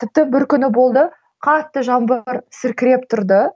тіпті бір күні болды қатты жаңбыр сіркіреп тұрды